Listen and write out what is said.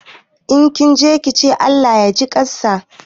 Idan kinje kice Allah yaji ƙansa.